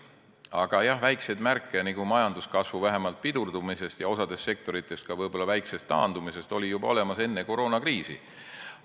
Aga jah, väikseid märke vähemalt majanduskasvu pidurdumisest ja osas sektorites ka võib-olla väiksest taandumisest oli olemas juba enne koroonakriisi.